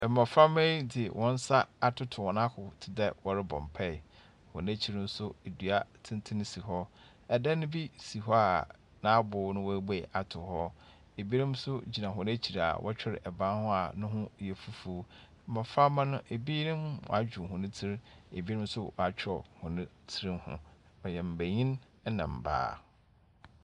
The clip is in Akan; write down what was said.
Mmɔframba yi dze wɔn nsa atoto wɔn ahow te dɛ wɔrepɔ mpae. Wɔn ekyir nso dua tenten si hɔ. Dan bi si hɔ a n'abow no woebue ato hɔ. Ebinom nso gyina hɔn ekyir a wɔtwer ban ho a ne ho yɛ fufuo. Mmɔframma no ebinom adwo hɔn tsir, ebi nso wɔatwerɛ hɔn tsir ho. Wɔyɛ mbenyin ɛnna mbaa.